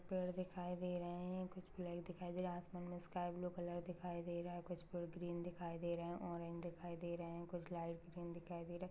Paid दिखाई दे रहे है। कुछ लाईट दिखाई दे रहे है। असमान में स्काई ब्लू कलर दिखाई दे रहा है। कुछ पेड़ ग्रीन दिखाई दे रहे है। ऑरेंज दिखाई दे रहे है। कुछ लाईट ग्रीन दिखाई दे रहे--